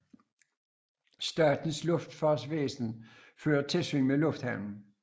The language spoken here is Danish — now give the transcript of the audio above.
Statens Luftfartsvæsen fører tilsyn med lufthavnen